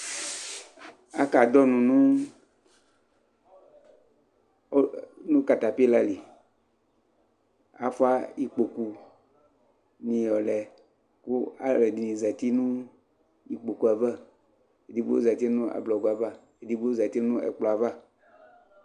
aka dʋnɔ nʋ catapillar li kʋ aƒʋa ikpɔkʋ ni yɔlɛ kʋ alʋɛ dini zati nʋ ikpɔkʋɛ aɣa, ɛdigbɔ zati nʋ ablagɔɛ aɣa, ɛdigbɔ zati nʋ ɛkplɔɛ aɣa